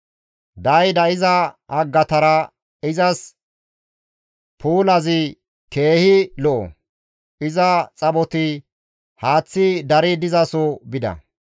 Daayida iza haggatara izas puulazi keehi lo7o; iza xaphoti haaththi dari dizaso bida.